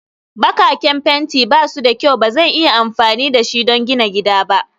Bakaken fenti ba su da kyau Ba zan iya amfani da shi don gidana ba